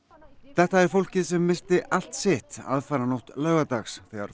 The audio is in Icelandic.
þetta er fólkið sem missti allt sitt aðfaranótt laugardags þegar